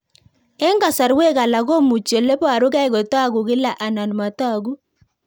Eng'kasarwek alak komuchi ole parukei kotag'u kila anan matag'u